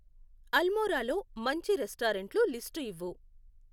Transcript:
అల్మోరా లో మంచి రెస్టారెంట్లు లిస్టు ఇవ్వు